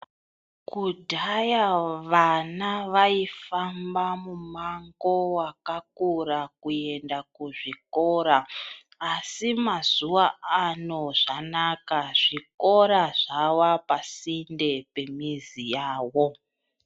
Kudhaya vana vaifamba mumango wakakura kuenda kuzvikora asi mazuwa ano zvakanaka zvikora zvavapasinde pemizi yavo.